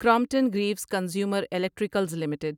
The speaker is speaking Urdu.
Crompton Greaves Consumer Electricals limited